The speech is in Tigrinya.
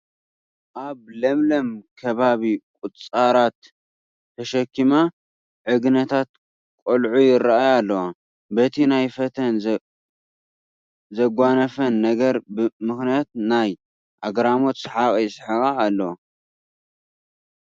ኣብ ለምለም ከባቢ ቁፃራት ተሸከማ ዕግነታት ቆልዑ ይርአያ ኣለዋ፡፡ በቲ ኣብ ፊተን ዘጓነፈን ነገር ምኽንያት ናይ ኣግራሞት ሰሓቕ ይስሕቓ ኣለዋ፡፡